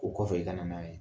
O kɔfɛ i kana n'a ye.